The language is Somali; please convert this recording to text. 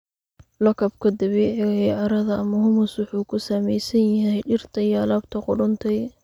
Lakabka dabiiciga ah ee carrada, ama humus, wuxuu ka samaysan yahay dhirta iyo alaabta qudhuntay.